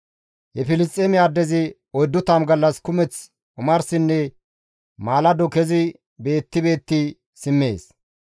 He Filisxeeme addezi 40 gallas kumeth omarsinne maalado kezi beetti beetti simmees.